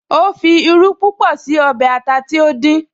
Ó fi irú púpọ̀ sí ọbẹ̀ ata tí ó dín